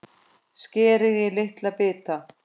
Skerið í litla bita.